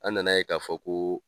An na na ye k'a fɔ ko